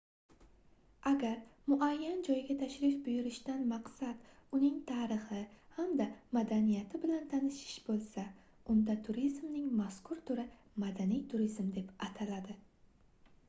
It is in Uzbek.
agar muayyan joyga tashrif buyurishdan maqsad uning tarixi hamda madaniyati bilan tanishish boʻlsa unda turizmning mazkur turi madaniy turizm deb ataladi